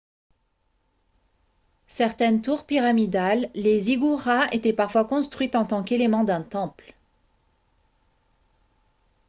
certaines tours pyramidales les ziggourats étaient parfois construites en tant qu'éléments d'un temple